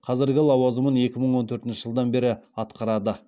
қазіргі лауазымын екі мың төртінші жылдан бері атқарады